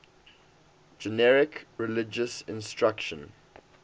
generic religious instruction